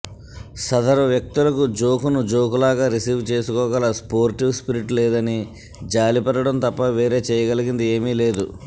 సదరు వ్యక్తులకు జోకును జోకులాగా రిసీవ్ చేసుకోగల స్టోర్టివ్ స్పిరిట్ లేదని జాలిపడడం తప్ప వేరేచేయగలిగింది ఏమీ లేదు